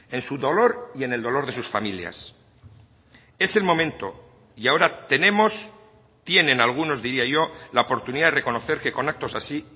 en su dolor y en el dolor de sus familias es el momento y ahora tenemos tienen algunos diría yo la oportunidad de reconocer que con actos así